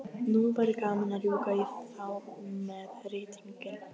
Nú væri gaman að rjúka í þá með rýtinginn.